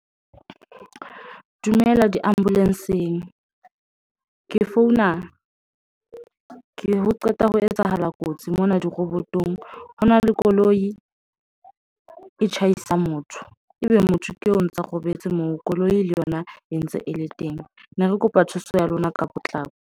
Dumela diambulance eng ke founa ke qeta ho etsahala kotsi mona, di-robot-ong hona le koloi e tjhaisa motho ebe motho keo ntso robetse moo, koloi le yona e ntse e le teng. Ne re kopa thuso ya lona ka potlako.